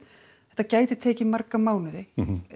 þetta gæti tekið marga mánuði en